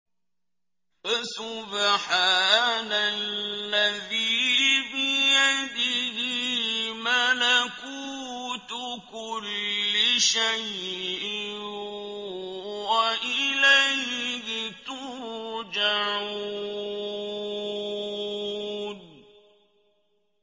فَسُبْحَانَ الَّذِي بِيَدِهِ مَلَكُوتُ كُلِّ شَيْءٍ وَإِلَيْهِ تُرْجَعُونَ